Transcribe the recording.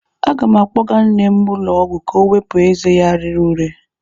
Aga m akpọga nne m ụlọ ọgwụ ka ọ wepụ ezé ya rere ure.